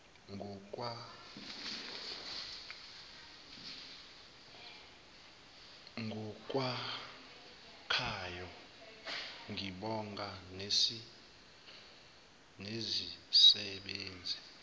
ngokwakhayo ngibonga nezisebenzi